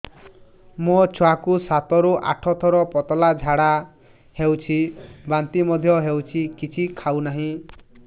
ମୋ ଛୁଆ କୁ ସାତ ରୁ ଆଠ ଥର ପତଳା ଝାଡା ହେଉଛି ବାନ୍ତି ମଧ୍ୟ୍ୟ ହେଉଛି କିଛି ଖାଉ ନାହିଁ